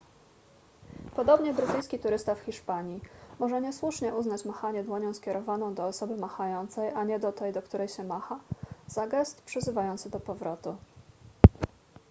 podobnie brytyjski turysta w hiszpanii może niesłusznie uznać machanie dłonią skierowaną do osoby machającej a nie do tej do której się macha za gest przyzywający do powrotu